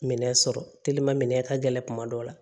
Minɛn sɔrɔ telimanminɛn ka gɛlɛn kuma dɔw la